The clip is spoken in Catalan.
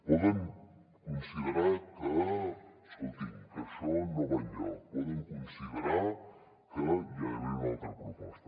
poden considerar escoltin que això no va enlloc poden considerar que hi ha d’haver una altra proposta